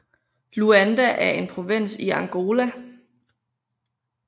Luanda er en provins i Angola